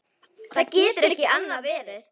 Það getur ekki annað verið.